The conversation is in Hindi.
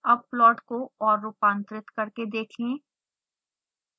अब प्लॉट को और रूपांतरित करके देखें